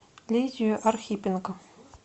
лидию архипенко